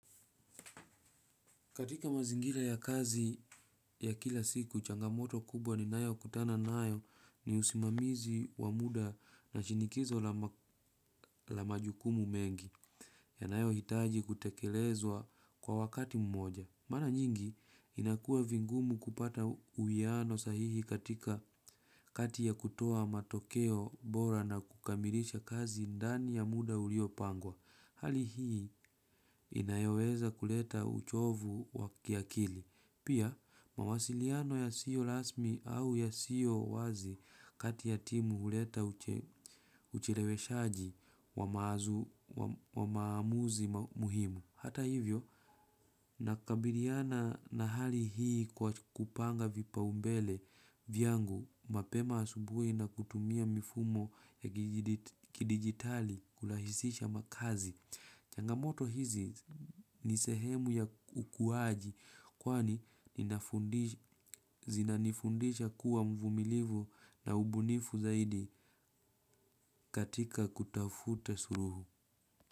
Katika mazingira ya kazi ya kila siku changamoto kubwa ninayokutana nayo ni usimamizi wa muda na shinikizo la majukumu mengi yanayohitaji kutekelezwa kwa wakati mmoja. Mara nyingi inakuwa vigumu kupata uwiano sahihi katika kati ya kutoa matokeo bora na kukamilisha kazi ndani ya muda uliopangwa. Hali hii inayoweza kuleta uchovu wa kiakili. Pia, mawasiliano yasiyo rasmi au yasiyo wazi kati ya timu huleta ucheleweshaji wa maamuzi muhimu. Hata hivyo nakabiliana na hali hii kwa kupanga vipaumbele vyangu mapema asubuhi na kutumia mifumo ya kidigitali kurahisisha makazi. Changamoto hizi ni sehemu ya ukuaji kwani zinanifundisha kuwa mvumilivu na ubunifu zaidi katika kutafuta suluhu.